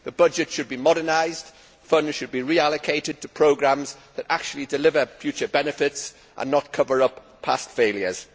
The budget should be modernised, funds should be reallocated to programmes which actually deliver future benefits and not cover up past failures.